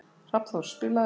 Hrafnþór, spilaðu lag.